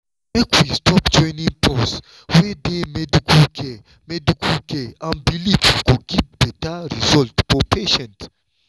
make we stop joinin’ pause wey dey medical care medical care and belief go give beta result for patients.